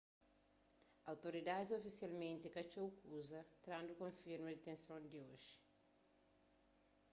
outoridadis ofisialmenti ka txeu kuza trandu konfirma ditenson di oji